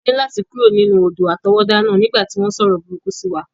A ní láti kúrò nínú odò àtọwọ́dá náà nígbà tí wọ́n sọ̀rọ̀ burúkú sí wa.